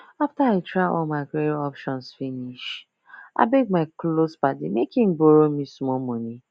after i don try all my credit options finish i beg my close padi make e borrow me small money